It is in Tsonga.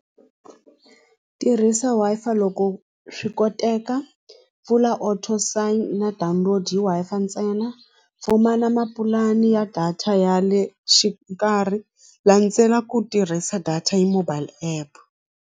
Tirhisa Wi-Fi loko swi koteka pfula or to sign na download-iwa ntsena pfumala mapulani ya data ya le xikarhi landzela ku tirhisa data hi mobile app.